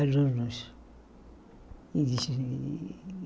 Alunos.